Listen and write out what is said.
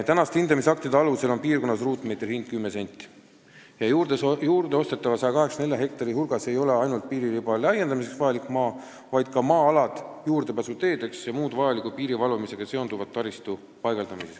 Praeguste hindamisaktide alusel on piirkonnas ruutmeetri hind 10 senti ja juurde ostetava 184 hektari hulgas ei ole ainult piiririba laiendamiseks vajalik maa, vaid ka maa-alad juurdepääsuteedeks ja piiri valvamisega seonduva taristu paigaldamiseks.